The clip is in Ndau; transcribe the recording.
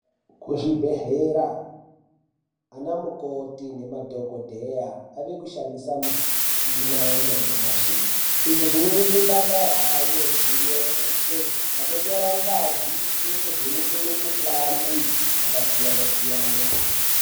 Kuzvibhedhlera ana mukoti nemadhokodheya ave kushandisa michina yanyamashi , izvi zvinoite basa rayo rireruke pakutora ngazi yekuvheneke mikhuhlani yakasiyana siyana.